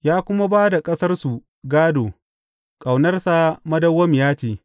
Ya kuma ba da ƙasarsu gādo, Ƙaunarsa madawwamiya ce.